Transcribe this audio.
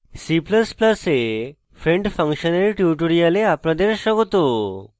c ++ এ friend function এর tutorial আপনাদের স্বাগত